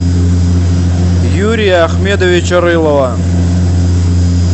юрия ахмедовича рылова